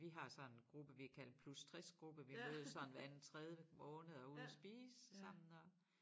Vi har sådan gruppe vi har kaldt plus 60 gruppe vi mødes sådan hver anden tredje måned og er ude at spise sammen og